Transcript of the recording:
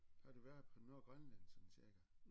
Har du været på Nordgrønland sådan cirka